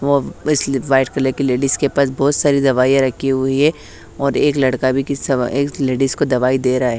White colour की ladies के पास बहुत सारी दवाईयाँ रखी हुई है और एक लड़का भी किस सवा एक लेडिस को दवाई दे रहा है।